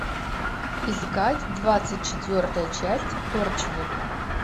искать двадцать четвертая часть торчвуд